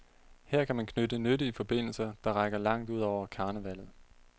Her kan man knytte nyttige forbindelser, der rækker langt ud over karnevallet.